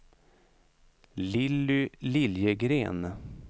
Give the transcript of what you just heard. Lilly Liljegren